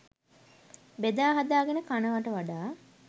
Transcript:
බෙදාහදා ගෙන කනවට වඩා